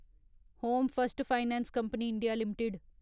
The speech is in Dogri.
home first finance company India limited